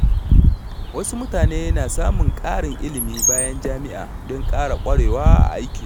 Wasu mutane na samun ƙarin ilimi bayan jami’a don ƙara ƙwarewa a aikinsu.